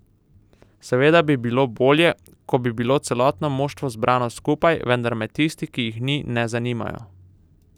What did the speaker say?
Seveda bi bilo bolje, ko bi bilo celotno moštvo zbrano skupaj, vendar me tisti, ki jih ni, ne zanimajo.